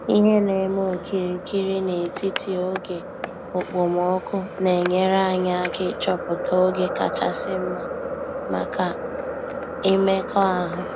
Ihe na-eme okirikiri n’etiti oge okpomọkụ na-enyere anyị aka ịchọpụta oge kachasị mma maka imekọahụ.